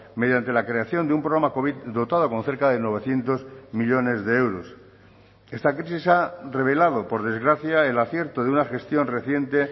mediante la creación de un programa covid dotado con cerca de novecientos millónes de euros esta crisis ha revelado por desgracia el acierto de una gestión reciente